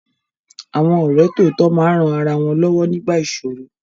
Àwọn ọ̀rẹ́ tòótọ́ máa ń ran ara wọn lọ́wọ́ nígbà ìsòro.